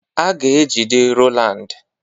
A ga-ejide Rowland.